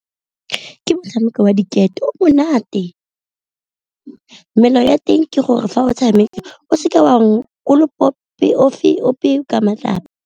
Ke motshameko wa diketo o monate, melao ya teng ke gore fa o tshameka o seke wa kolopa ofe ka matlapa.